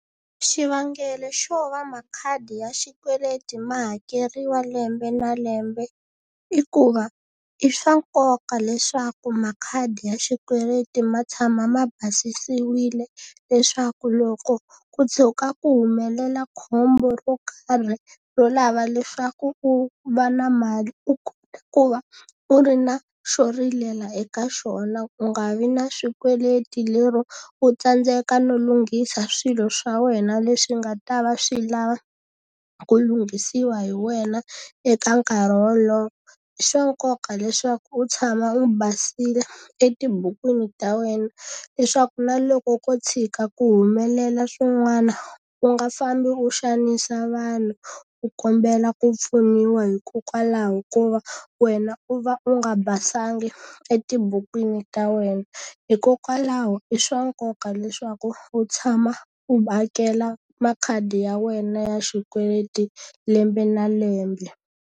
Xivangelo xo va makhadi ya xikweleti ma hakeriwa lembe na lembe, i ku va i swa nkoka leswaku makhadi ya xikweleti ma tshama ma basisiwile leswaku loko ku tshuka ku humelela khombo ro karhi ro lava leswaku u va na mali, u kota ku va u ri na xo rilela eka xona. Ku nga vi na swikweleti lero u tsandzeka no lunghisa swilo swa wena leswi nga ta va swi lava ku lunghisiwa hi wena eka nkarhi wolowo. I swa nkoka leswaku u tshama wu basile etibukwini ta wena leswaku na loko ko tshika ku humelela swin'wana, u nga fambi u xanisa vanhu u kombela ku pfuniwa hikokwalaho ko va wena u va u nga basanga etibukwini ta wena. Hikokwalaho i swa nkoka leswaku u tshama u hakela makhadi ya wena ya xikweleti lembe na lembe.